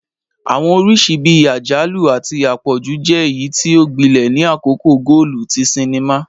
Awọn oriṣi bii ajalu ati apọju jẹ eyiti o gbilẹ ni akoko goolu ti sinima